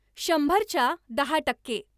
शंभर च्या दहा टक्के